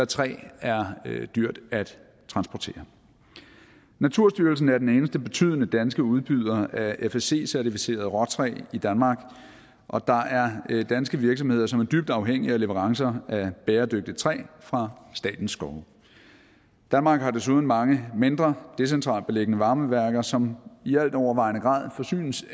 træ er dyrt at transportere naturstyrelsen er den eneste betydende danske udbyder af fsc certificeret råtræ i danmark og der er danske virksomheder som er dybt afhængige af leverancer af bæredygtigt træ fra statens skove danmark har desuden mange mindre decentralt beliggende varmeværker som i altovervejende grad forsynes